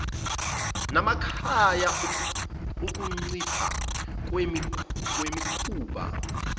namakhaya ukuncipha kwemikhuba